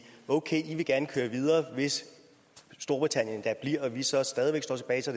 okay i vil gerne køre videre hvis storbritannien da bliver og vi så stadig væk står tilbage så